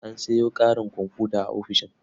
An sayo ƙarin komfuta a ofishin.